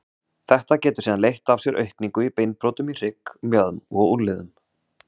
Þetta getur síðan leitt af sér aukningu í beinbrotum í hrygg, mjöðm og á úlnliðum.